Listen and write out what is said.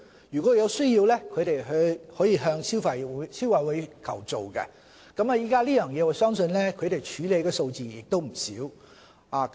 如果有需要，可以向消委會求助，我相信消委會處理這方面的數字亦不少。